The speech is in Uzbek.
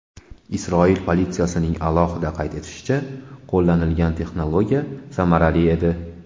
Isroil politsiyasining alohida qayd etishicha , qo‘llanilgan texnologiya samarali edi.